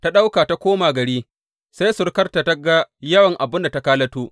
Ta ɗauka ta koma gari sai surukarta ta ga yawan abin da ta kalato.